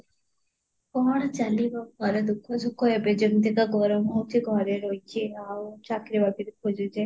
କଣ ଚାଲିବ ପପର ଦୁଃଖ ସୁଖ ଏବେ ଯେମିତି ତ ଗରମ ହୋଉଛି ଘରେ ରହିକି ଆଉ ଚାକିରୀ ବାକିରି ଖୁଯୁଛି